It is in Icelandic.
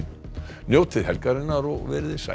njótið helgarinnar og verið þið sæl